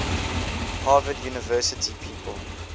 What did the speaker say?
harvard university people